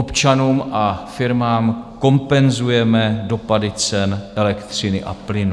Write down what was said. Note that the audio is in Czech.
Občanům a firmám kompenzujeme dopady cen elektřiny a plynu.